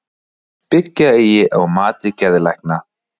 Byggja eigi á mati geðlækna